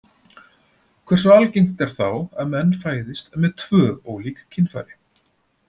Hversu algengt er þá að menn fæðist með tvö ólík kynfæri?